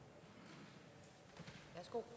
for